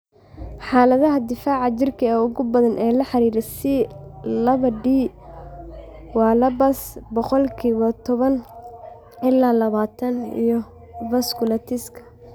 Xaaladaha difaaca jirka ee ugu badan ee la xiriira C laba D waa lupus (boqolkiba toban ila labatan) iyo vasculitiska.